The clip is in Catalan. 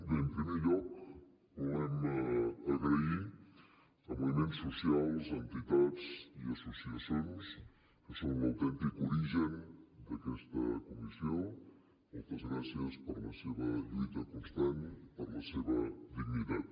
bé en primer lloc volem donar les gràcies a moviments socials entitats i associacions que són l’autèntic origen d’aquesta comissió moltes gràcies per la seva lluita constant i per la seva dignitat